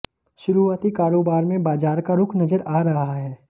शुरुआती कारोबार में बाजार का रुख नजर आ रहा है